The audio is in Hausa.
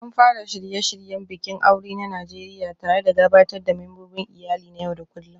An fara shirye-shiryen bikin aure na Najeriya tare da gabatar da membobin iyali na yau da kullun